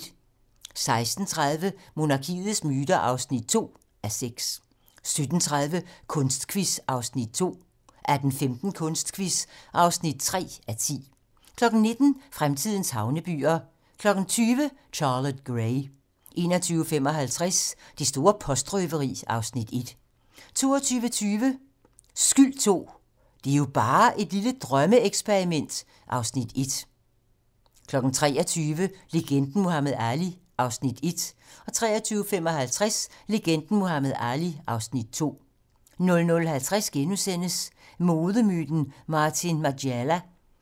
16:30: Monarkiets myter (2:6) 17:30: Kunstquiz (2:10) 18:15: Kunstquiz (3:10) 19:00: Fremtidens havnebyer 20:00: Charlotte Gray 21:55: Det store postrøveri (Afs. 1) 22:20: Skyld II - Det er jo bare et lille drømmeeksperiment (Afs. 1) 23:00: Legenden Muhammad Ali (Afs. 1) 23:55: Legenden Muhammad Ali (Afs. 2) 00:50: Modemyten Martin Margiela *